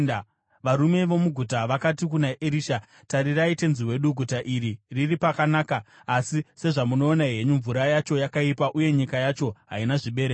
Varume vomuguta vakati kuna Erisha, “Tarirai, tenzi wedu, guta iri riri pakanaka, asi sezvamunoona henyu, mvura yacho yakaipa uye nyika yacho haina zvibereko.”